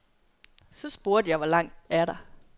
Så spurgte jeg, hvor langt er der.